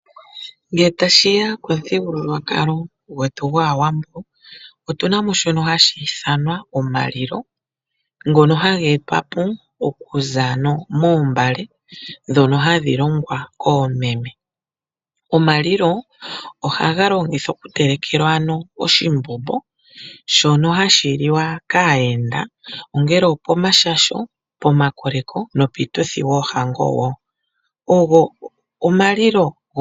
Ngele tashiya komuthigululwakalo gwetu gwAawambo otuna mo shono hashi ithanwa omalilo, ngono haga etwa po okuza ano moombale ndhono hadhi longwa koomeme. Omalilo ohaga longithwa okutelekelwa ano oshimbombo shono hashi liwa kaayenda ongele opomashasho, pomakoleko nopiituthi yoohango wo.